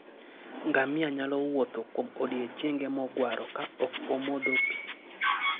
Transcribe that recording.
Ngamia nyalo wuotho kuom odiechienge mogwaro ka ok omodho pi.